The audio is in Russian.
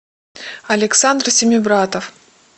александр семибратов